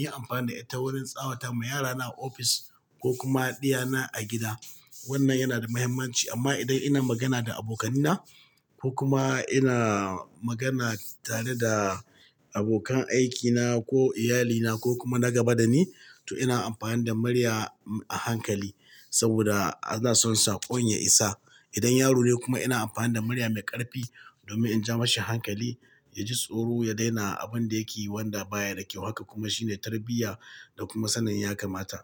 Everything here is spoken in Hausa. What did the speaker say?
yi amfani da ita wurin tsawata ma yarana a ofis ko kuma ɗiyana a gida. Wannan yana da muhimmanci amma idan ina magana da abokanina ko kuma ina magana tare da abokan aikina ko iyalina ko kuma na gaba da ni, to ina amfani da murya a hankali saboda ana son sakon ya isa. Idan yaro ne kuma ina amfani da murya mai ƙarfi domin in ja mashi hankali, ya ji tsoro, ya daina abun da yake yi wanda baya da kyau. Haka kuma shine tarbiyya da kuma sanin ya kamata.